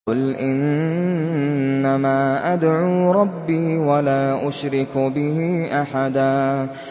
قُلْ إِنَّمَا أَدْعُو رَبِّي وَلَا أُشْرِكُ بِهِ أَحَدًا